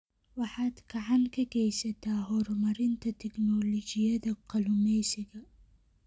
Waxaad gacan ka geysataa horumarinta tignoolajiyada kalluumeysiga.